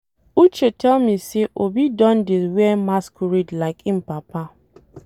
Uche tell me say Obi don dey wear masquerade like im papa.